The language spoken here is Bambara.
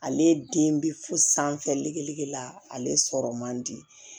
Ale den bi fo sanfɛ le la ale sɔrɔ man di